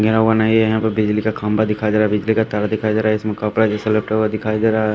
यह वह नहीं है यहां पे बिजली का खंभा दिखा दिखाई बिजली का तार दिखाई दे रहा है इसमे कपड़ा जैसा लपेटा हुआ दिखाई दे रहा--